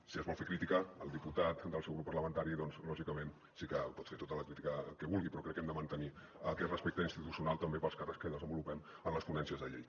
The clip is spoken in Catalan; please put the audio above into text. si es vol fer crítica el diputat del seu grup parlamentari doncs lògicament sí que pot fer tota la crítica que vulgui però crec que hem de mantenir aquest respecte institucional també pels càrrecs que desenvolupem en les ponències de llei